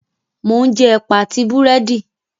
Mò ún jẹ Ẹ̀pà àti Búrẹ́dì